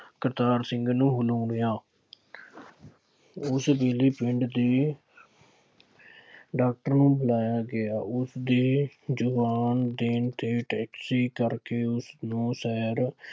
ਕਰਤਾਰ ਸਿੰਘ ਨੂੰ ਹਿਲੂਣਿਆ। ਉਸ ਦਿਨ ਪਿੰਡ ਦੇ ਡਾਕਟਰ ਨੂੰ ਬੁਲਾਇਆ ਗਿਆ। ਉਸਦੇ ਜਵਾਬ ਦੇਣ ਤੇ ਟੈਕਸੀ ਕਰਕੇ ਉਸਨੂੰ ਸਹਿਰ